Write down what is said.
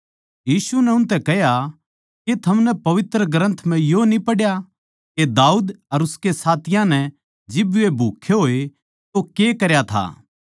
यीशु नै उनतै कह्या के थमनै पवित्र ग्रन्थ म्ह यो न्ही पढ़या के दाऊद अर उसके साथियाँ नै जिब वे भूक्खे होए तो के करया था